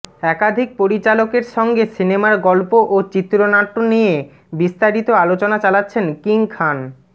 একাধিক পরিচালকের সঙ্গে সিনেমার গল্প ও চিত্রনাট্য নিয়ে বিস্তারিত আলোচনা চালাচ্ছেন কিং খান